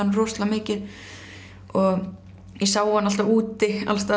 rosalega mikið ég sá hann alltaf úti allstaðar